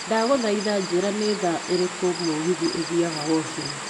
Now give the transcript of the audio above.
Ndagũthaitha njĩra ni thaa irĩkũ mũgithi ũthiaga Woshini.